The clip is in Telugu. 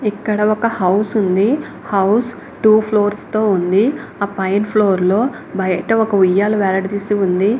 ఇక్కడ ఒక హౌస్ ఉంది హౌస్ టూ ఫ్లూర్స్ తో ఉంది. ఆ పైన ఫ్లోర్ లో బయట ఒక ఉయ్యాలా వేలాడ డిసి ఉంది.